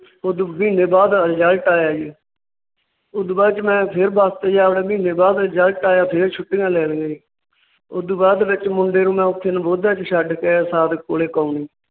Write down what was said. ਉਹਦੋ ਮਹੀਨੇ ਬਾਅਦ Result ਆਇਆ ਜੀ। ਉਸ ਤੋਂ ਬਾਅਦ ਚ ਮੈ ਫਿਰ ਬੱਸ ਤੇ ਜਾ ਵੜਿਆ ਮਹੀਨੇ ਬਾਅਦ Result ਆਇਆ ਫਿਰ ਛੁੱਟੀਆਂ ਲੈ ਲਈਆਂ ਸੀ। ਉਸ ਤੋਂ ਬਾਅਦ ਚ ਮੈ ਮੁੰਡੇ ਨੂੰ ਨਵੋਦਿਆ ਚ ਛੱਡ ਕੇ ਸਾਦਿਕ ਕੋਲ ਕਾਉਣੀ